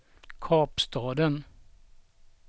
Kapstaden